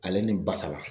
Ale ni basa